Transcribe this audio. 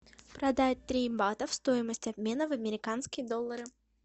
продать три бата стоимость обмена в американские доллары